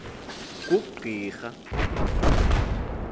kugqirha